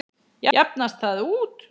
Jafnast það út?